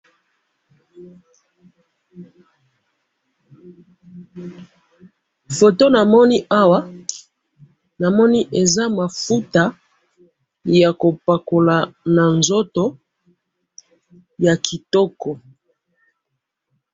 photo na moni awa aza mafuta yako pakola nzoto ya kitoko